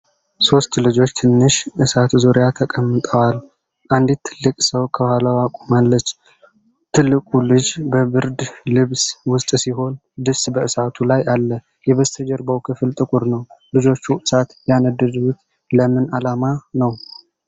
ሦስት ልጆች ትንሽ እሳት ዙሪያ ተቀምጠዋል። አንዲት ትልቅ ሰው ከኋላዋ ቆማለች። ትልቁ ልጅ በብርድ ልብስ ውስጥ ሲሆን፣ ድስት በእሳቱ ላይ አለ። የበስተጀርባው ክፍል ጥቁር ነው። ልጆቹ እሳት ያነደዱት ለምን ዓላማ ነው?